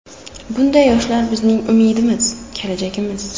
Bunday yoshlar bizning umidimiz, kelajagimiz.